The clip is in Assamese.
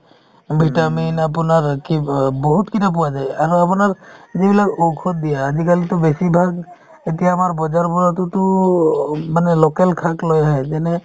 vitamin আপোনাৰ কি অ বহুত কেইটা পোৱা যায় আৰু আপোনাৰ যিবিলাক ঔষধ দিয়ে আজিকালিতো বেছিভাগ এতিয়া আমাৰ বজাৰবোৰততো অ' মানে local শাক লৈ আহে যেনে